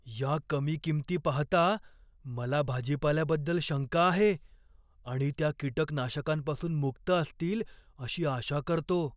या कमी किंमती पाहता, मला भाजीपाल्याबद्दल शंका आहे आणि त्या कीटकनाशकांपासून मुक्त असतील अशी आशा करतो.